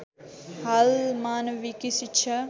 हाल मानविकी शिक्षा